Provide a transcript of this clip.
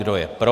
Kdo je pro?